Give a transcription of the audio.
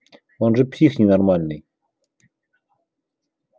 он же псих ненормальный